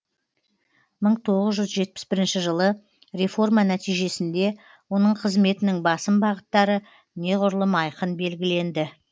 мың тоғыз жүз жетпіс бірінші жылы реформа нәтижесінде оның қызметінің басым бағыттары неғұрлым айқын белгіленді